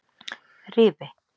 Rifi